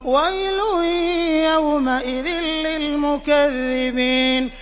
وَيْلٌ يَوْمَئِذٍ لِّلْمُكَذِّبِينَ